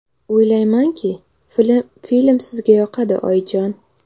O‘ylaymanki, film sizga yoqadi, oyijon!”.